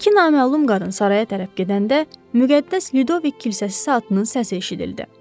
İki naməlum qadın saraya tərəf gedəndə müqəddəs Lüdovik kilsəsi saatının səsi eşidildi.